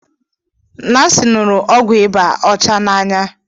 Nancy ṅụrụ ọgwụ ịba ọcha n'anya